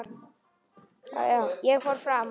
Ég fór fram á gang.